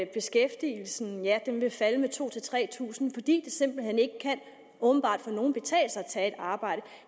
beskæftigelsen vil falde med to tusind tre tusind fordi det åbenbart for nogle betale sig at tage et arbejde